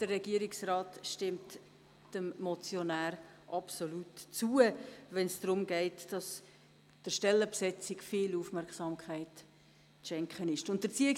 Der Regierungsrat stimmt dem Motionär zu, wenn er fordert, dass der Stellenbesetzung viel Aufmerksamkeit geschenkt werden muss.